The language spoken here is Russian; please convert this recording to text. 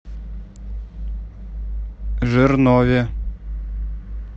жирнове